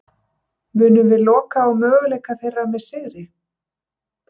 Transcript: Munum við loka á möguleika þeirra með sigri?